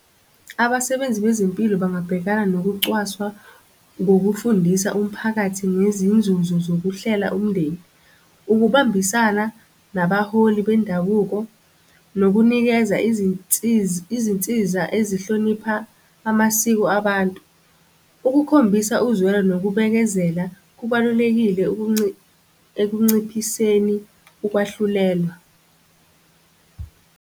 Abasebenzi bezempilo bangabhekana nokucwaswa ngokufundisa umphakathi ngezinzuzo zokuhlela umndeni. Ukubambisana nabaholi bendabuko nokunikeza izinsiza, izinsiza azihlonipha amasiko abantu. Ukukhombisa uzwelo nokubekezela kubalulekile ekunciphiseni ukwahlulelwa.